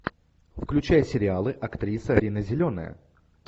включай сериалы актриса рина зеленая